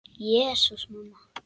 Jesús, mamma.